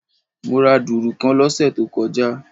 Mo ra dùrù kan lósè tó kojá